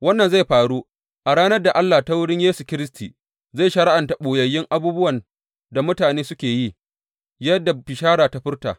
Wannan zai faru a ranar da Allah ta wurin Yesu Kiristi zai shari’anta ɓoyayyun abubuwan da mutane suka yi, yadda bisharata ta furta.